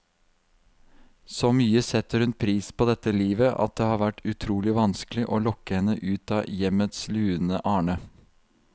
Så mye setter hun pris på dette livet, at det har vært utrolig vanskelig å lokke henne ut av hjemmets lune arne.